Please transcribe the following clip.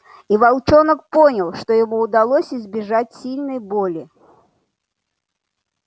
и волчонок понял что ему удалось избежать сильной боли